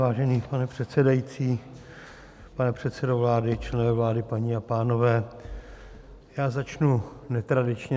Vážený pane předsedající, pane předsedo vlády, členové vlády, paní a pánové, já začnu netradičně.